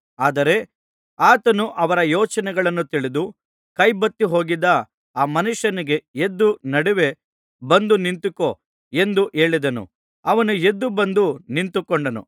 ಆದರೆ ಆತನು ಅವರ ಯೋಚನೆಗಳನ್ನು ತಿಳಿದು ಕೈ ಬತ್ತಿಹೋಗಿದ್ದ ಆ ಮನುಷ್ಯನಿಗೆ ಎದ್ದು ನಡುವೆ ಬಂದು ನಿಂತುಕೋ ಎಂದು ಹೇಳಿದನು ಅವನು ಎದ್ದುಬಂದು ನಿಂತುಕೊಂಡನು